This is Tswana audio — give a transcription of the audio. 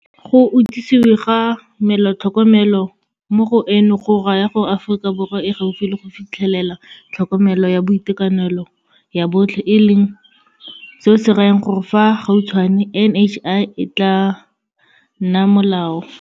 Go itsisewe ga Melaotlho mo eno go raya gore Aforika Borwa e gaufi le go fitlhelela tlhokomelo ya boitekanelo ya botlhe e leng seo se rayang gore fa gautshwane NHI e tla nna molao.